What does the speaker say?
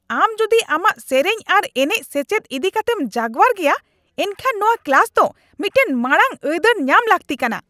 ᱟᱢ ᱡᱩᱫᱤ ᱟᱢᱟᱜ ᱥᱮᱹᱨᱮᱹᱧ ᱟᱨ ᱮᱱᱮᱪ ᱥᱮᱪᱮᱫ ᱤᱫᱤ ᱠᱟᱛᱮᱢ ᱡᱟᱜᱣᱟᱨ ᱜᱮᱭᱟ, ᱮᱱᱠᱷᱟᱱ ᱱᱚᱶᱟ ᱠᱞᱟᱥ ᱫᱚ ᱢᱤᱫᱴᱟᱝ ᱢᱟᱲᱟᱝ ᱟᱹᱭᱫᱟᱹᱨ ᱧᱟᱢ ᱞᱟᱹᱠᱛᱤ ᱠᱟᱱᱟ ᱾